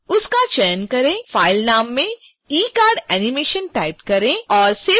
file नाम में ecardanimation type करें और save बटन पर क्लिक करें